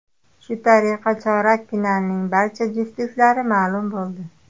Shu tariqa chorak finalning barcha juftliklari ma’lum bo‘ldi.